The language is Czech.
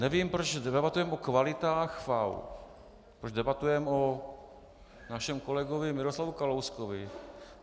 Nevím, proč debatujeme o kvalitách FAÚ, proč debatujeme o našem kolegovi Miroslavu Kalouskovi.